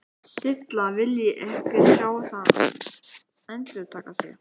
Silla vilji ekki sjá það endurtaka sig.